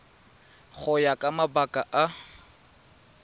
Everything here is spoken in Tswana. go ya ka mabaka a